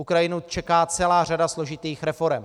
Ukrajinu čeká celá řada složitých reforem.